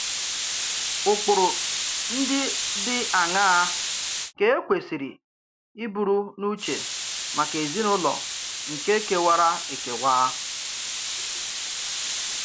Ụkpụrụ ndị dị àṅàá ka e kwésìrì ìbùrù n’ùchè màkà èzìnùlọ nke kèwàrā èkèwà?